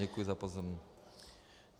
Děkuji za pozornost.